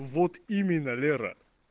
вот именно лера